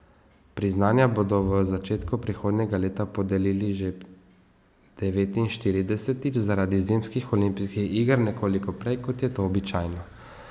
Priznanja bodo v začetku prihodnjega leta podelili že devetinštiridesetič, zaradi zimskih olimpijskih iger nekoliko prej, kot je to običajno.